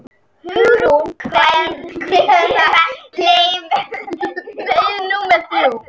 En við höfðum fengið stærsta hús bæjarins til að skemmta okkur í.